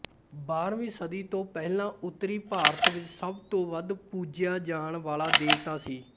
ਬਾਰਵੀ ਸਦੀ ਤੋਂ ਪਹਿਲਾਂ ਉਤਰੀ ਭਾਰਤ ਵਿੱਚ ਸਭ ਤੋਂ ਵੱਧ ਪੂਜਿਆ ਜਾਣ ਵਾਲਾ ਦੇਵਤਾ ਸੀ